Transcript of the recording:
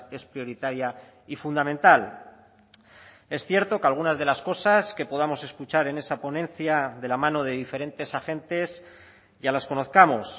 es prioritaria y fundamental es cierto que algunas de las cosas que podamos escuchar en esa ponencia de la mano de diferentes agentes ya las conozcamos